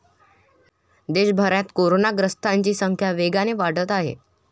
देशभरात कोरोनाग्रस्तांची संख्या वेगाने वाढत आहे.